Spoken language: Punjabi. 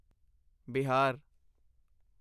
ਬਿਹਾਰ